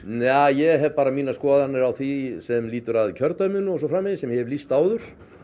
ég hef bara mínar skoðanir á því sem lýtur að kjördæminu og svo framvegis sem ég hef lýst áður